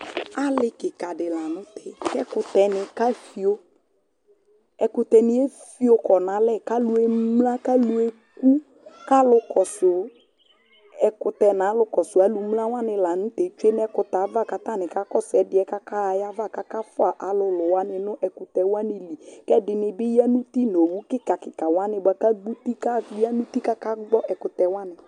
Alì kɩka dɩ la nʊ tɛ kʊ ɛkʊtɛnɩe fio Ɛkʊtɛnɩe fio kɔnalɛ kʊ alʊemla, kʊ alʊekʊ kʊ alʊ kɔsʊ ɛkʊtɛ nʊ alʊ kɔsʊ alʊ mlawanɩ la nʊ tɛ tsoe nʊ ɛkʊtɛava kʊ atanɩ kakɔsʊ ɛdɩɛ kʊ akaɣa ayiva kʊ akafʊa alʊlʊwanɩ nʊ ɛkʊtɛwnɩ li kʊ ɛdini bɩ ya nʊ ʊti nʊ owʊ kikawanɩ bakʊ adʊ ʊti kʊ ayanʊti kʊ akagbɔ ɛkʊtɛwanɩ